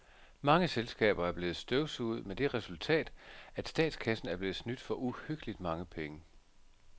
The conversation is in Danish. Mange selskaber er blevet støvsuget med det resultat, at statskassen er blevet snydt for uhyggeligt mange penge.